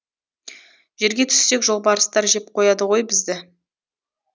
жерге түссек жолбарыстар жеп қояды ғой бізді